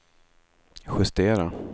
justera